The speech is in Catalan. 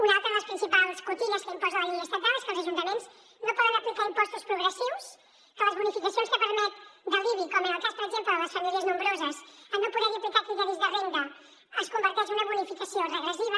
una altra de les principals cotilles que imposa la llei estatal és que els ajuntaments no poden aplicar impostos progressius que les bonificacions que permet de l’ibi com en el cas per exemple de les famílies nombroses en no poder hi aplicar criteris de renda es converteix en una bonificació regressiva